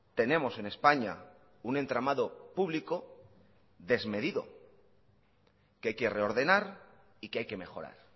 tenemos en españa un entramado público desmedido que hay que reordenar y que hay que mejorar